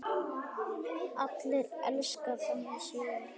Allir elska þannig sögur.